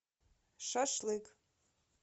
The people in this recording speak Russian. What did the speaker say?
шашлык